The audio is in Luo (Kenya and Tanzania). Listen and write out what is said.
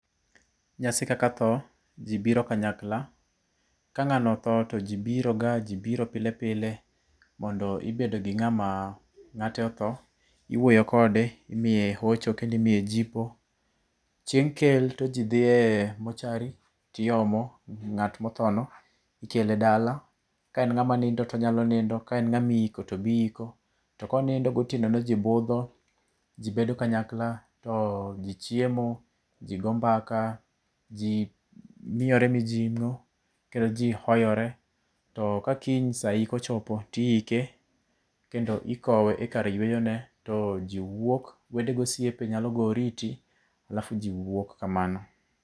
Nyasi kaka tho, ji biro kanyakla. Ka ng'ano otho to ji biro ga, ji biro pile pile mondo gibed gi ng'ama ng'ate otho. Iwuoyo kode, imiye hocho kendo imiye jipo. Cheng' kel to ji dhi e mortuary tiomo ng'at mothono ikele dala. Ka en ng'ama nindo to onyalo nindo, ka en ng'ama iiko to be iiko. To konindo gotieno no, ji bedo kanyakla to ji chiemo, ji go mbaka, ji miyore mijing'o kendo ji hoyore. To ka kiny sa yik ochopo, to iike kendo ikowe e kar yueyone. To ji wuok, wede gosiepe nyalo goyo oriti alafu ji wuok kamano